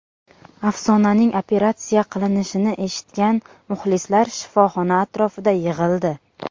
Afsonaning operatsiya qilinishini eshitgan muxlislar shifoxona atrofida yig‘ildi.